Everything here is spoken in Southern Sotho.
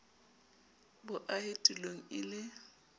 bo ahe tulong e le